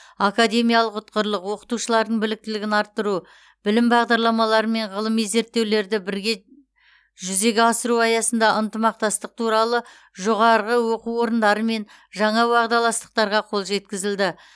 академиялық ұтқырлық оқытушылардың біліктілігін арттыру білім бағдарламалары мен ғылыми зерттеулерді бірге жүзеге асыру аясында ынтымақтастық туралы жоғары оқу орындарымен жаңа уағдаластықтарға қол жеткізілді